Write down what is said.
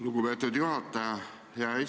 Lugupeetud juhataja!